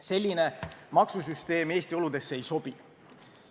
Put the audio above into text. Selline maksusüsteem Eesti oludesse ei sobi.